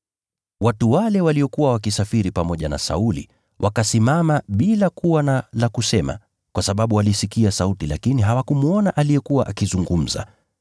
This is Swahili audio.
Watu waliokuwa wakisafiri pamoja na Sauli wakasimama bila kuwa na la kusema, kwa sababu walisikia sauti lakini hawakumwona aliyekuwa akizungumza.